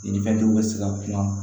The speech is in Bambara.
Ɲininkali dɔw bɛ se ka kuma